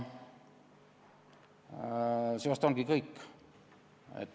See vist ongi kõik.